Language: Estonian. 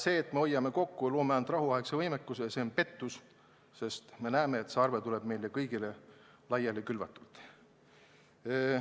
See, et hoiame ressursse kokku ja tagame ainult rahuaegse võimekuse, on pettus, sest me näeme, et arve tuleb hiljem meile kõigile laiali külvatult.